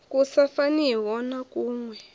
ku sa faniho na kuwe